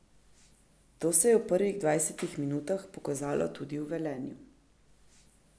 To se je v prvih dvajsetih minutah pokazalo tudi v Velenju.